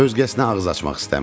Özgəsinə ağız açmaq istəmirəm.